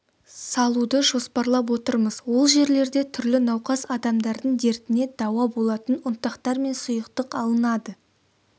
салуды жоспарлап отырмыз ол жерлерде түрлі науқас адамдардың дертіне дауа болатын ұнтақтар мен сұйықтық алынады